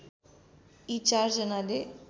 यी चारजनाले